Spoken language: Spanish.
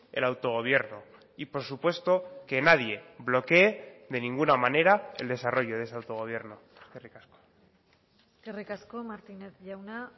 el autogobierno y por supuesto que nadie bloquee de ninguna manera el desarrollo de ese autogobierno eskerrik asko eskerrik asko martínez jauna